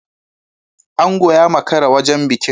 Ango ya makara wajen bikin.